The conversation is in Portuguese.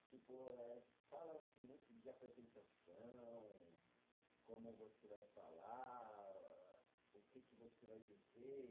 Tipo, eh falam-se muito de apresentação, como você vai falar, o que que você vai dizer.